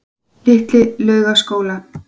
Litli Laugaskóla